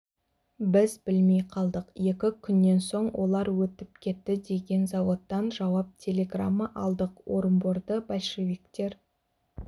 біз білмей қалдық екі күннен соң олар өтіп кетті деген заводтан жауап телеграмма алдық орынборды большевиктер